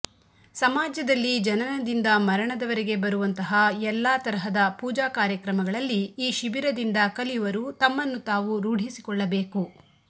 ಸಮಾಜದಲ್ಲಿ ಜನನದಿಂದ ಮರಣದವರೆಗೆ ಬರುವಂತಹ ಎಲ್ಲಾ ತರಹದ ಪೂಜಾ ಕಾರ್ಯಕ್ರಮಗಳಲ್ಲಿ ಈ ಶಿಬಿರದಿಂದ ಕಲಿಯವರು ತಮ್ಮನ್ನು ತಾವು ರೂಢಿಸಿಕೊಳ್ಳಬೇಕು